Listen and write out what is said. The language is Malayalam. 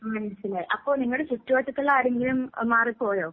മനസിലായി, അപ്പൊ നിങ്ങടെ ചുറ്റുവട്ടത്തുള്ള ആരെങ്കിലും മാറിപ്പോയോ?